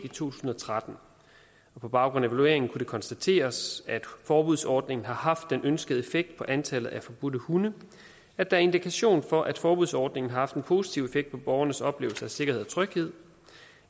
tusind og tretten og på baggrund af evalueringen kunne det konstateres at forbudsordningen har haft den ønskede effekt på antallet af forbudte hunde at der er indikation for at forbudsordningen har haft en positiv effekt på borgernes oplevelse af sikkerhed og tryghed